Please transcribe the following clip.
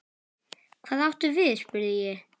Hvað áttu við spurði ég.